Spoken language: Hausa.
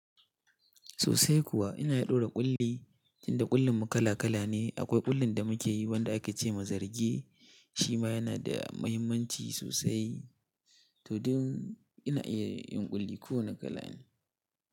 Sosai kuwa ina daura ƙulli, tinda ƙullin mu kala kala ne. Akwai ƙullin da muke yi wanda ake ce ma zarge. Shi ma yana da mahimmanci sosai. To duk ina iya yin ƙulli ko wane kala ne.